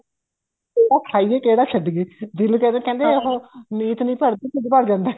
ਕਿਹੜਾ ਖਾਈਏ ਕਿਹੜਾ ਛੱਡੀਏ ਦਿਲ ਕਰਦਾ ਕਹਿੰਦੇ ਉਹ ਨੀਤ ਨੀ ਭਰਦੀ ਢਿੱਡ ਭਰ ਜਾਂਦਾ